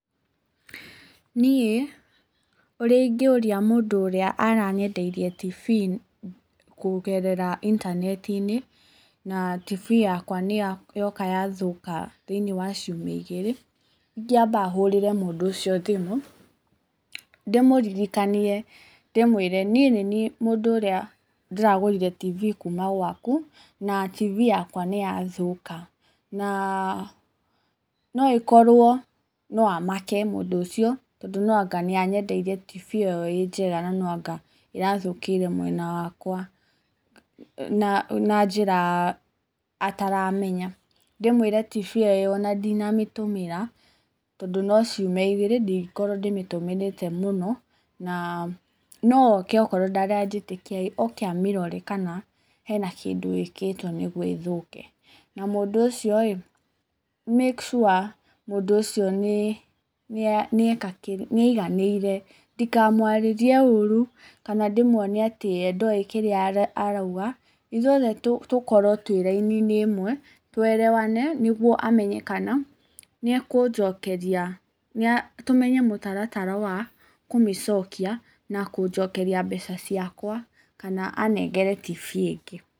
Niĩ, ũrĩa ingĩũria mũndũ ũrĩa aranyendeirie TV kũgerera intaneti-inĩ, na TV yakwa nĩ yoka yathũka thĩinĩ wa ciumia igĩrĩ, ingĩamba hũrĩre mũndũ ũcio thimũ, ndĩmũririkanie, ndĩmwĩre niĩ nĩ niĩ mũndũ ũrĩa ndĩragũrire TV kuuma gwaku, na TV yakwa nĩ yathũka, na no ĩkorwo, no amake mũndũ ũcio tondũ nó anga nĩ anyendeirie TV ĩyo ĩ njega no anga ĩrathũkĩire mwena wakwa na njĩra ataramenya, ndĩmwĩre TV ĩyo ona ndinamĩtũmĩra, tũndũ no ciumia igĩrĩ ndĩngĩkorwo ndĩmĩtũmĩrĩte mũno, na no oke okorwo ndaranjĩtĩkia oke amĩrore kana hena kĩndũ ĩkĩtwo nĩguo ĩthũke, na mũndũ ũcio rĩ, make sure mũndũ ũcio nĩ nĩeka nĩ aiganĩire, ndikamwarĩrie ũru, kana ndĩmwonie atĩ we ndoĩ kĩrĩa arauga, ithuĩ othe tũkorwo twĩ raini-inĩ ĩmwe, tũerewane nĩguo amenye kana nĩakũnjokeria, tũmenye mũtaratara wa kũmĩcokia na kũnjokeria mbeca ciakwa kana anengere TV ĩngĩ.